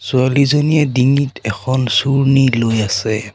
ছোৱালীজনীয়ে ডিঙিত এখন চুৰ্ণী লৈ আছে।